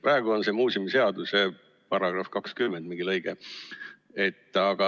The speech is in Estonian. Praegu on selleks muuseumiseaduse § 20 mingi lõige.